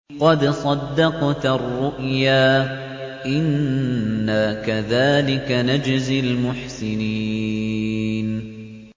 قَدْ صَدَّقْتَ الرُّؤْيَا ۚ إِنَّا كَذَٰلِكَ نَجْزِي الْمُحْسِنِينَ